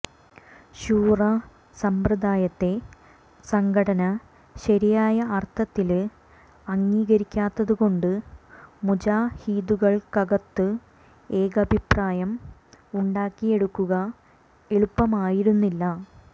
ശൂറാ സമ്പ്രദായത്തെ സംഘടന ശരിയായ അര്ഥത്തില് അംഗീകരിക്കാത്തതുകൊണ്ട് മുജാഹിദുകള്ക്കകത്ത് ഏകാഭിപ്രായം ഉണ്ടാക്കിയെടുക്കുക എളുപ്പമായിരുന്നില്ല